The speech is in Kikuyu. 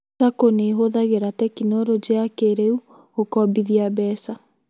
SACCO nĩihũthagira tekinoronjĩ ya kĩrĩu gũkombithia mbeca